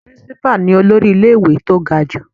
Principal ni olórí ilé ìwé tó ga jù.